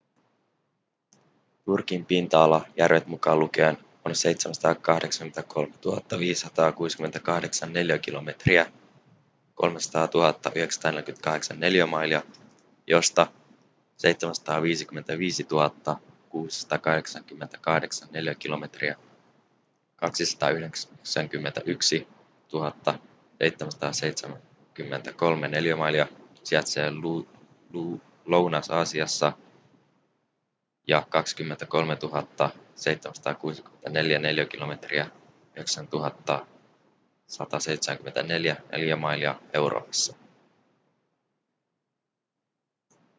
turkin pinta-ala järvet mukaan lukien on 783 562 neliökilometriä 300 948 neliömailia josta 755 688 neliökilometriä 291 773 neliömailia sijaitsee lounais-aasiassa ja 23 764 neliökilometriä 9 174 neliömailia euroopassa